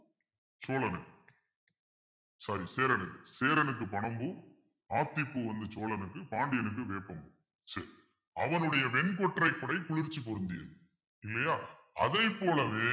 சோழனுக்கு sorry சேரனுக்கு சேரனுக்கு பனம் பூ ஆத்திப்பூ வந்து சோழனுக்கு பாண்டியனுக்கு வேப்பம் பூ அவனுடைய வெண்கொற்றை குடை குளிர்ச்சி பொருந்தியது இல்லையா அதைப் போலவே